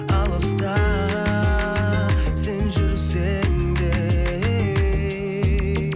алыста сен жүрсең де ей